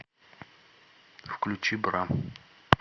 включи бра